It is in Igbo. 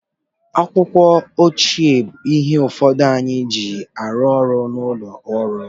Akwụkwọ, oche bụ ihe ụfọdụ anyị na-eji arụ ọrụ n'ụlọ ọrụ